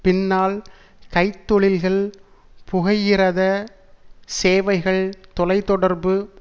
பின்னால் கைத்தொழில்கள் புகையிரத சேவைகள் தொலை தொடர்பு